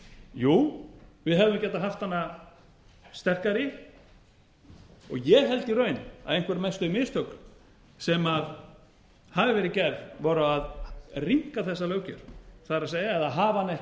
jú við hefðum getað haft hana sterkari og ég held í raun að einhver mestu mistök sem hafi verið gerð voru að rýmka þessa löggjöf eða hafa hana ekki